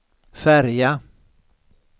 färja